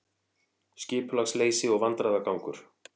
Skipulagsleysi og vandræðagangur